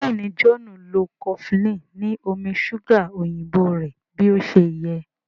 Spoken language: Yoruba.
Béèni John nlọ cofflin ni omí ṣuga òyìnbó rẹ bí ọṣẹ yé.